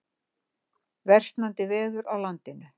Versnandi veður á landinu